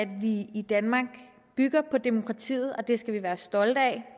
vi i danmark bygger på demokratiet og det skal vi være stolte af